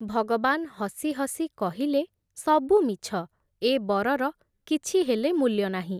ଭଗବାନ୍ ହସି ହସି କହିଲେ, ସବୁ ମିଛ, ଏ ବରର କିଛି ହେଲେ ମୂଲ୍ୟ ନାହିଁ ।